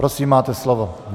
Prosím, máte slovo.